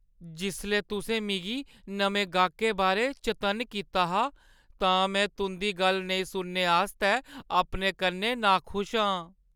जिसलै तुसें मिगी नमें गाह्‌कै बारै चतन्न कीता हा तां में तुंʼदी गल्ल नेईं सुनने आस्तै अपने कन्नै नाखुश आं।